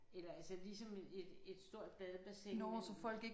Eller altså ligesom et et stort badebassin men